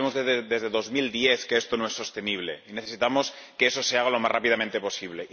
Sabemos desde 2010 que esto no es sostenible y necesitamos que eso se haga lo más rápidamente posible.